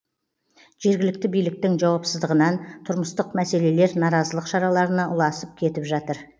жергілікті биліктің жауапсыздығынан тұрмыстық мәселелер наразылық шараларына ұласып кетіп жатыр